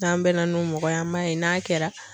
N'an bɛn na n'o mɔgɔ ye an b'a ye n'a kɛra.